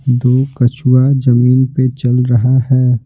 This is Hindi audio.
दो कछुआ जमीन पे चल रहा है।